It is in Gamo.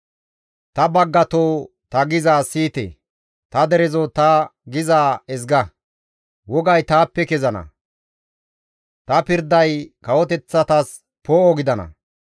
«Ta baggatoo ta gizayssa siyite; ta derezoo ta gizaa ezga; wogay taappe kezana; ta pirday kawoteththatas poo7o gidana.